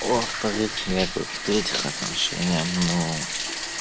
во-вторых нервы в-третьих отношения ну